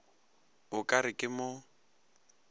o ka re ke mo